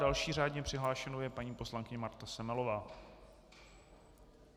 Další řádně přihlášenou je paní poslankyně Marta Semelová.